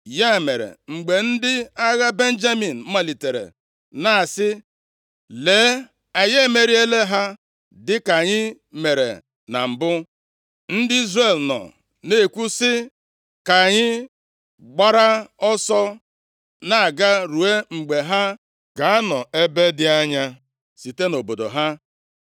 Ya mere, mgbe ndị agha Benjamin malitere na-asị, “Lee, anyị emeriela ha dịka anyị mere na mbụ,” ndị Izrel nọ na-ekwu sị, “Ka anyị gbara ọsọ na-aga ruo mgbe ha ga-anọ ebe dị anya site nʼobodo ha.”